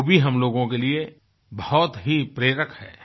वो भी हम लोगों के लिए बहुत ही प्रेरक है